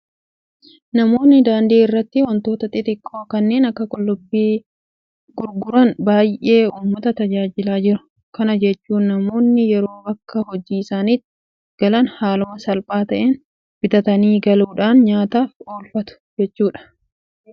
Namoonni daandii irratti waantota xixiqqoo kanneen akka qullubbii gurguran baay'ee uummata tajaajilaa jiru. Kana jechuun namoonni yeroo bakka hojii isaaniitii galan haaluma salphaa ta'een bitatanii galuudhaan nyaataaf oolfatu jechuudha. Kun immoo warreen gurgurataniifis maamilli gahaan akka uumamu taasiseera.